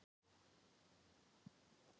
Því miður er lítill fótur fyrir þessu.